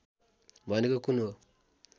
भनेको कुन हो